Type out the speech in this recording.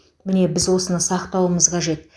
міне біз осыны сақтауымыз қажет